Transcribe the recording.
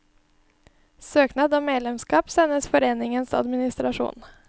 Søknad om medlemskap sendes foreningens administrasjon.